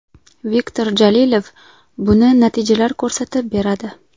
Viktor Jalilov: - Buni natijalar ko‘rsatib beradi.